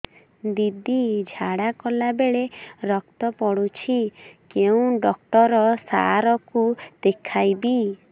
ଦିଦି ଝାଡ଼ା କଲା ବେଳେ ରକ୍ତ ପଡୁଛି କଉଁ ଡକ୍ଟର ସାର କୁ ଦଖାଇବି